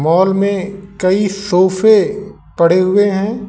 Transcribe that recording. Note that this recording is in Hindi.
हॉल में कई सोफे पड़े हुए हैं।